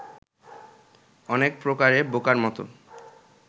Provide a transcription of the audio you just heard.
অনেক প্রকারে বোকার মত